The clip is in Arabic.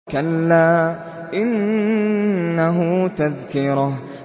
كَلَّا إِنَّهُ تَذْكِرَةٌ